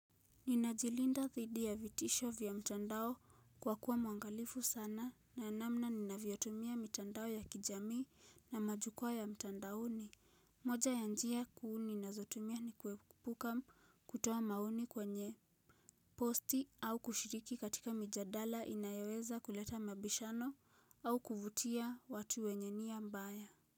Ninajilinda thidi ya vitisho vya mtandao kwa kuwa mwangalifu sana na namna ni naviotumia mtandao ya kijami na majukua ya mtandaoni. Moja ya njia kuu na zotumia ni kuepuka kutoa maoni kwenye posti au kushiriki katika mijadala inayoweza kuleta mabishano au kuvutia watu wenye nia mbaya.